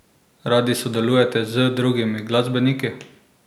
Radi sodelujete z drugimi glasbeniki?